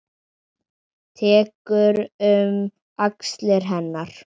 Tekur um axlir hennar.